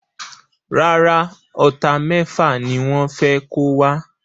Rárá, Ọta méfà ni wọ́n fé kó wa